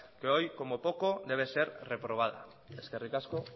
que hoy como poco debe ser reprobada eskerrik asko